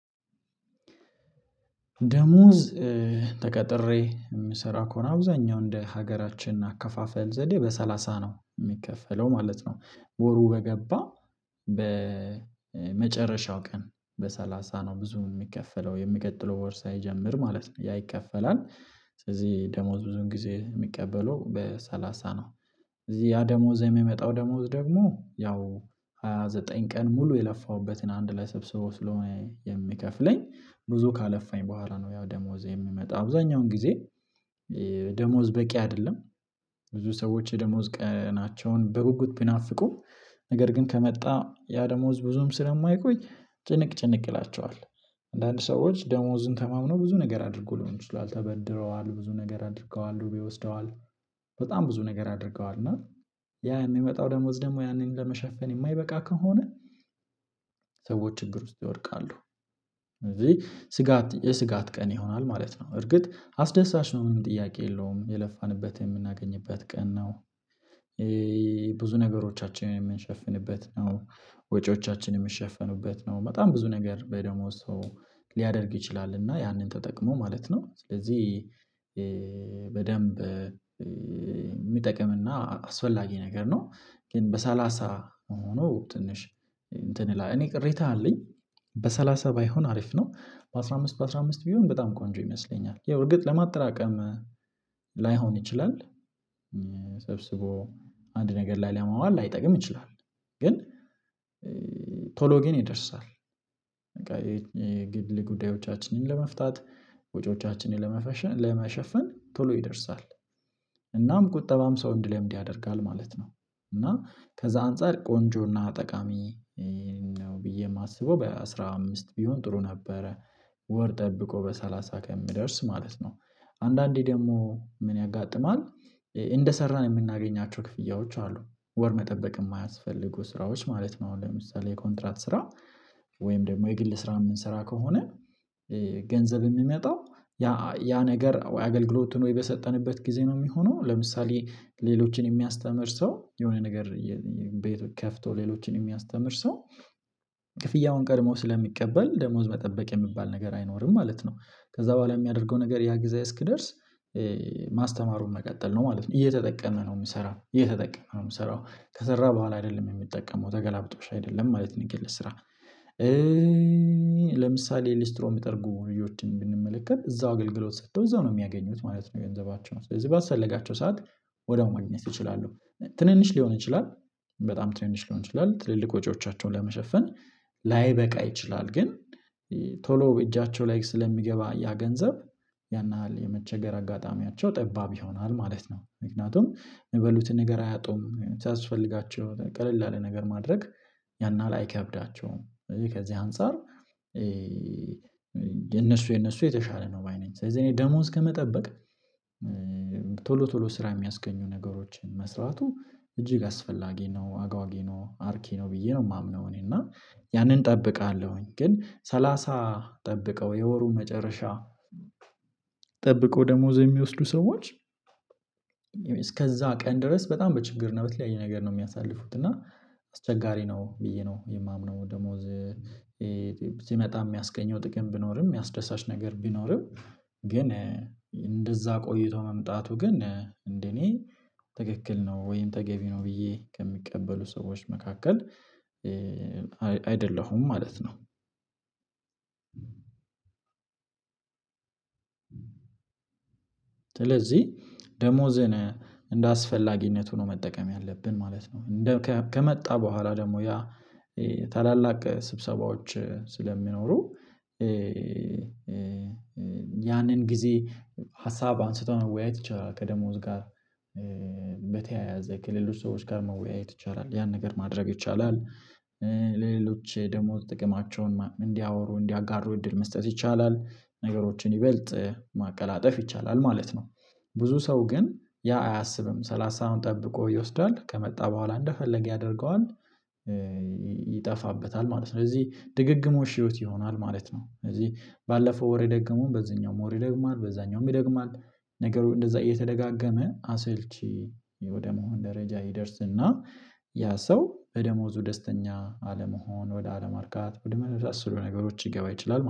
ደሞዝ ተቀጥሬ የምሰራ ከሆነ አብዛኛው እንደ ሀገራችን አከፋፈል ዘዴ በሰላሳ ነው የሚከፈለው ማለት ነው ወሩ በገባ በመጨረሻው ቀን በሰላሳ ነው ብዙ የሚከፈለው የሚቀጥለው ወር ሳይጀምር ማለት ነው ያ ይከፈላል ስለዚህ ደሞዝ ብዙን ጊዜ የሚቀበለው በሰላሳ ነው። እዚህ ያ ደሞዝ የሚመጣው ደሞዝ ደግሞ ያው ሃያ ዘጠኝ ቀን ሙሉ የለፋሁበትን አንድ ላይ ሰብስቦ ስለሆነ የሚከፍለኝ ብዙ ካለፋኝ በኋላ ነው ያው ደሞዜ የምመጣው አብዛኛውን ጊዜ ደሞዝ በቂ አይደለም። ብዙ ሰዎች የደሞዝ ቀናቸውን በጉጉት ቢናፍቁም ነገር ግን ከመጣ ያ ደሞዝ ብዙም ስለማይቆይ ጭንቅ ጭንቅ ይላቸዋል አንዳንድ ሰዎች ደሞዝን ተማምነው ብዙ ነገር አድርጎ ልሆን ይችላል ተበድረዋ፣ ል ብዙ ነገር አድርገዋል፣ ዱቤ ወስደዋል፣ በጣም ብዙ ነገር አድርገዋል እና ያ የሚመጣው ደሞዝ ደግሞ ያንን ለመሸፈን የማይበቃ ከሆነ ሰዎች ችግር ውስጥ ይወድቃሉ ስለዚህ የስጋት ቀን ይሆናል ማለት ነው። እርግጥ አስደሳች ነው ምንም፣ ጥያቄ የለውም የለፋንበት የምናገኝበት ቀን ነው ብዙ ነገሮቻችንን የምንሸፍንበት ነው፣ ወጪዎቻችንን የምንሸፈንበት ነው፣ በጣም ብዙ ነገር በደሞዝ ሰው ሊያደርግ ይችላል፣ እና ያንን ተጠቅሞ ማለት ነው። ስለዚህ በደንብ የሚጠቅምና አስፈላጊ ነገር ነው ግን በሰላሳ ሆኖ ትንሽ እንትን ይላል እኔ ቅሬታ አለኝ። በሰላሳ ባይሆን አሪፍ ነው በአስራ አምስት በአስራ አምስት ቢሆን በጣም ቆንጆ ይመስለኛል ያው እርግጥ ለማጥራቀም ላይሆን ይችላል ሰብስቦ አንድ ነገር ላይ ለማዋል ላይጠቅም ይችላል ግን ቶሎ ግን ይደርሳል በቃ የግል ጉዳዮቻችንን ለመፍታት ወጪዎቻችንን ለመሸፈን ቶሎ ይደርሳል እናም ቁጠባም ሰው እንዲለምድ ያደርጋል ማለት ነው እና ከዛ አንፃር ቆንጆና ጠቃሚ ነው ብዬ የማስበው በአሥራ አምስት ቢሆን ጥሩ ነበረ ወር ጠብቆ በሰላሳ ከምደርስ ማለት ነው። አንዳንዴ ደግሞ ምን ያጋጥማል እንደሰራን የምናገኛቸው ክፍያዎች አሉ ወር መጠበቅ የማያስፈልጉ ስራዎች ማለት ነው ለምሳሌ የኮንትራት ስራ ወይም ደግሞ የግል ስራ ምን ስራ ከሆነ ገንዘብ የሚመጣው ያ ያ ነገር አገልግሎት ነው የሰጠንበት ጊዜ ነው የሚሆነው ለምሳሌ ሌሎችን የሚያስተምር ሰው የሆነ ነገር ቤት ከፍቶ ሌሎችን የሚያስተምር ሰው ክፍያውን ቀድሞ ስለሚቀበል ደሞዝ መጠበቅ የሚባል ነገር አይኖርም ማለት ነው። ከዛ በኋላ የሚያደርገው ነገር ያ ጊዜ እስኪደርስ ማስተማሩን መቀጠል ነው ማለት ነው እየተጠቀመ ነው የሚሰራው እየተጠቀመ ነው የሚሰራው ከሰራ በኋላ አይደለም የሚጠቀመው ተገላብጦሽ አይደለም ማለት ነው የግል ስራ ለምሳሌ ሊስትሮን የሚጠርጉ ልጆችን ብንመለከት እዛው አገልግሎት ሰጥተው እዛው ነው የሚያገኙት ማለት ነው የንዘባቸውን ስለዚህ ባስፈለጋቸው ሰዓት ወደ ማግኘት እችላሉ። ትንንሽ ሊሆን ይችላል፣ በጣም ትንንሽ ሊሆን ይችላል፣ ትልልቅ ወጪዎቻቸውን ለመሸፈን ላይበቃ ይችላል ግን ቶሎ እጃቸው ላይ ስለሚገባ ያ ገንዘብ ያን ያህል የመቸገር አጋጣሚያቸው ጠባብ ይሆናል ማለት ነው፣ ምክንያቱም የሚበሉትን ነገር አያጡም ሲያስፈልጋቸው ቀለል ያለ ነገር ማድረግ ያን አህል አይከብዳቸውም ከዚህ ከዚህ አንፃር የነሱ የነሱ የተሻለ ነው ባይ ነኝ። ስለዚህ እኔ ደሞዝ ከመጠበቅ ቶሎ ቶሎ ስራ የሚያስገኙ ነገሮችን መስራቱ እጅግ አስፈላጊ ነው፣ አጓጊ ነው፣ አርኪ ነው ብዬ ነው የማምነው እኔ እና ያንን እጠብቃለሁኝ ግን ሰላሳ ጠብቀው የወሩን መጨረሻ ጠብቀው ደሞዝ የሚወስዱ ሰዎች እስከዛ ቀን ድረስ በጣም በችግር እና በተልያየ ነገር ነው የሚያሳልፉት እና አስቸጋሪ ነው ብዬ ነው የማምነው ደሞዝ ሲመጣ የሚያስገኘው ጥቅም ቢኖርም የሚያስደሳች ነገር ቢኖርም ግን እንደዛ ቆይቶ መምጣቱ ግን እንደኔ ትክክል ነው ወይም ተገቢ ነው ብዬ ከሚቀበሉ ሰዎች መካከል አይደለሁም ማለት ነው። ስለዚህ ደሞዝን እንደ አስፈላጊነቱ ሆኖ መጠቀም ያለብን ማለት ነው። ከመጣ በኋላ ደግሞ ያ ታላላቅ ስብሰባዎች ስለሚኖሩ ያንን ጊዜ ሀሳብ አንስቶ ነው መወያይ ይቻላል ከደሞዝ ጋር በተያያዘ ከሌሎች ሰዎች ጋር መወያየት ይቻላል፣ ያን ነገር ማድረግ ይቻላል፣ ለሌሎች ደሞዝ ጥቅማቸውን እንዲያወሩ እንዲያጋሩ እድል መስጠት ይቻላል፣ ነገሮችን ይበልጥ ማቀላጠፍ ይቻላል ማለት ነው። ብዙ ሰው ግን ያ አያስብም ሰላሳዉን ጠብቆ ይወስዳል ከመጣ በኋላ እንደፈለገ ያደርገዋል ይጠፋበታል ማለት ነው። ስለዚህ ድግግሞሽ ህይወት ይሆናል ማለት ነው ስለዚህ ባለፈው ወር የደገመዉን በዚህኛውም ወር ይደግማል በዛኛውም ይደግማል ነገሩ እንደዛ እየተደጋገመ አሰልቺ ወደ መሆን ደረጃ ይደርስና ያ ሰው በደሞዙ ደስተኛ አለመሆን ወደ አለማርጋት ወደ መሳሰሉ ነገሮች ሊገባ ይችላል ማለት ነው።